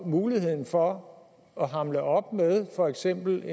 muligheden for at hamle op med for eksempel